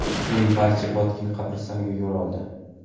Keyin barcha Botkin qabristoniga yo‘l oldi.